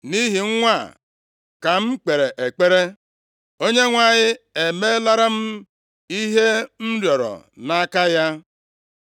Nʼihi nwa a ka m kpere ekpere, Onyenwe anyị emelara m ihe m rịọrọ nʼaka ya.